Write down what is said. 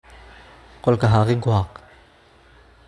Qolka xaaqin ku xaaq.